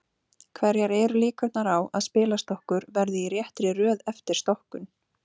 Hverjar eru líkurnar á að spilastokkur verði í réttri röð eftir stokkun?